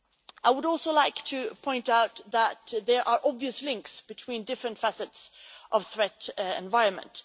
I would also like to point out that there are obvious links between different facets of the threat environment.